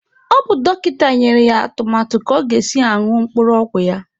Ọ bụ dọkịta nyere ya atụmatụ ka ọ ga-esi ñụọ mkpụrụ ọgwụ ya